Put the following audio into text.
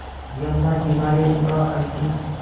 यमुना किनारे उनका अंतिम